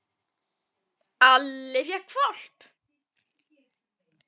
Alli fékk hvolp.